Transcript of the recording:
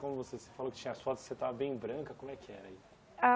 Como você você falou que tinha as fotos, você estava bem branca, como é que era aí?